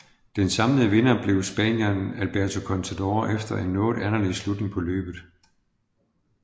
Den samlede vinder blev spanieren Alberto Contador efter en noget anderledes slutning på løbet